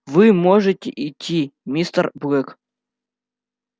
вы можете идти мистер блэк